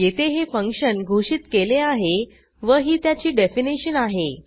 येथे हे फंक्शन घोषित केले आहे व ही त्याची डेफिनीशन आहे